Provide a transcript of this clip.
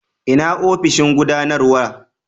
ina ofishin gudanarwa?